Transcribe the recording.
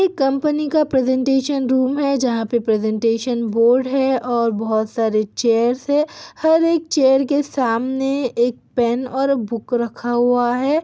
ये कम्पनी का presentation room है जहाँ पे प्रेजेंटेशन बोर्ड है और बहुत सारे चेयर्स है हर एक चेयर के सामने एक पेन और बुक रखा हुआ है|